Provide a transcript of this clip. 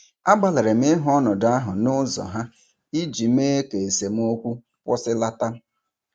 Agbalịrị m ịhụ ọnọdụ ahụ n'ụzọ ha iji mee ka esemokwu kwụsịlata.